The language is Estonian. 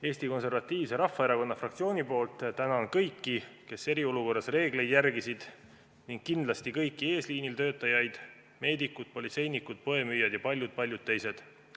Eesti Konservatiivse Rahvaerakonna fraktsiooni nimel tänan kõiki, kes eriolukorras reegleid järgisid, ning kindlasti kõiki eesliinil töötajaid: meedikuid, politseinikke, poemüüjaid ja paljusid-paljusid teisi.